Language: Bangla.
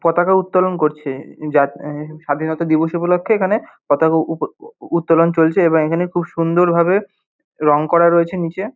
পতাকা উত্তোলন করছে। যা এ স্বাধীনতা দিবস উপলক্ষে এখানে পতাকা উপ উত্তোলন চলছে এবং এখানে খুব সুন্দর ভাবে রঙ করা রয়েছে নীচে।